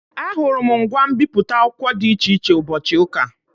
Ahụrụ m ngwa mbipụta akwụkwọ dị iche iche ụbọchị ụka.